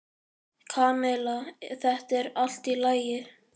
Kamilla, þetta er allt í lagi.